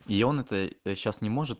и ён это э сейчас не может